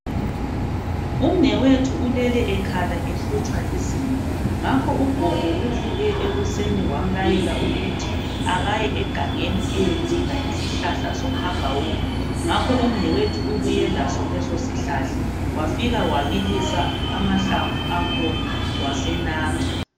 Umnewethu ulele ekhala ehlutshwa lizinyo ngakho ugogo uvuke ekuseni wamlayela ukuthi akaye egangeni eyedinga isihlahla sohagawulo. Ngakho umnewethu ubuye laso leso sihlahla wafika wabilisa amahlamvu akhona wasenatha.